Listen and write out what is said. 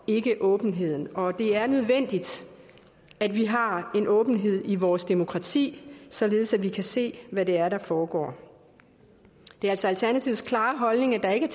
ikke åbenheden og det er nødvendigt at vi har en åbenhed i vores demokrati således at vi kan se hvad det er der foregår det er altså alternativets klare holdning at der ikke